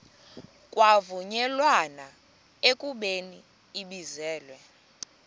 kwavunyelwana ekubeni ibizelwe